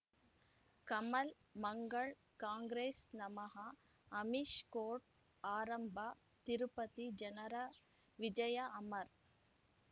ಕಮಲ್ ಮಂಗಳ್ ಕಾಂಗ್ರೆಸ್ ನಮಃ ಅಮಿಷ್ ಕೋರ್ಟ್ ಆರಂಭ ತಿರುಪತಿ ಜನರ ವಿಜಯ ಅಮರ್